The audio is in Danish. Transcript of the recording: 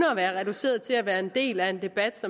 at være reduceret til kun at være en del af en debat